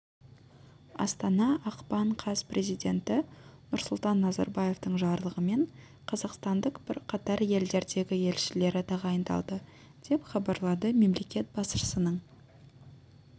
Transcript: астана ақпан каз президенті нұрсұлтан назарбаевтың жарлығымен қазақстанның бірқатар елдердегі елшілері тағайындалды деп хабарлады мемлекет басшысының